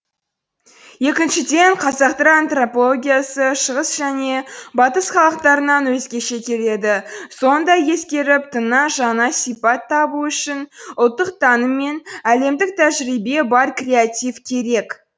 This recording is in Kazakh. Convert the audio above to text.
екіншіден қазақтар антропологиясы шығыс және батыс халықтарынан өзгеше келеді соны да ескеріп тыңнан жаңа сипат табу үшін ұлттық таным мен әлемдік тәжірибе бар креатив керек